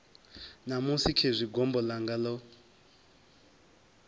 ṋamusi khezwi gombo ḽanga ḽo